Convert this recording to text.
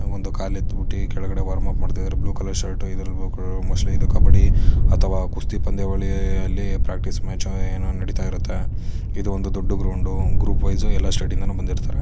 ಒಂದು ಕಾಲ್ ಎತ್ತು ಬಿಟ್ಟಿ ಕೆಳಗಡೆ ವಾರ್ಮ್ ಅಪ್ ಮಾಡ್ತಿದ್ದರೆ ಬ್ಲೂ ಕಲರ್ ಶರ್ಟು ಇದ್ರಲ್ ಬ್ಲೂ ಕಲರ್ ಮೋಸ್ಟ್ಲಿ ಇದು ಕಬ್ಬಡ್ಡಿ ಅಥವಾ ಕುಸ್ತಿ ಪಂದ್ಯಾವಳಿ ಅ_ಅಲ್ಲಿ ಪ್ರಾಕ್ಟಿಸ್ ಮ್ಯಾಚು ಏನೋ ನಡೀತ ಇರುತ್ತೆ ಇದು ಒಂದು ದೊಡ್ದು ಗ್ರೌಂಡು ಗ್ರೂಪ್ ವೈಸು ಎಲ್ಲಾ ಸ್ಟೇಟ್ ಇಂದನು ಬಂದಿರ್ತರೆ.